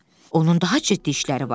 Onun daha ciddi işləri var idi.